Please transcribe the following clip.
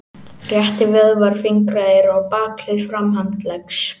Réttivöðvar fingra eru á bakhlið framhandleggs.